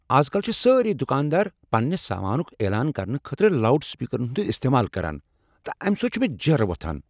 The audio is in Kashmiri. از کل چھ سٲری دکاندار پننہ سامانک اعلان کرنہٕ خٲطرٕ لاوڈ سپیکرن ہند استعمال کران تہٕ آمہ سۭتۍ چھُ مےٚ جیرٕ یوان۔